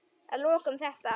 Að lokum þetta.